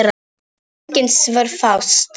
Engin svör fást.